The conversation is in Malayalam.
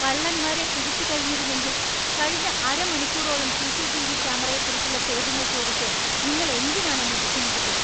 കള്ളന്മാരെ പിടിച്ചു കഴിഞ്ഞിരുന്നെങ്കിൽ കഴിഞ്ഞ അരമണിക്കൂറോളം സി.സി.ടി.വി. ക്യാമറയെക്കുറിച്ചുള്ള ചോദ്യങ്ങൾ ചോദിച്ച് നിങ്ങൾ എന്തിനാണ് എന്നെ ബുദ്ധിമുട്ടിച്ചത്?